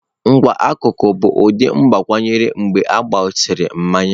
Nkewa n'akụkụ bụ ụdị agbakwunyere mgbe a gbasịrị mmanya.